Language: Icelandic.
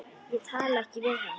Ég talaði ekkert við hann.